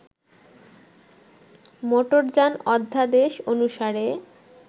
মোটরযান অধ্যাদেশ অনুসারে